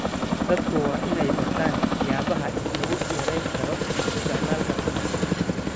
Dadku waa inay bartaan siyaabaha lagu yareyn karo isticmaalka tamarta.